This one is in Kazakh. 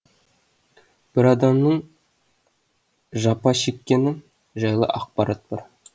бір адамның жапа шеккені жайлы ақпарат бар